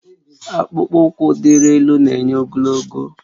Akpụkpọ ụkwụ diri elu na-enye ogologo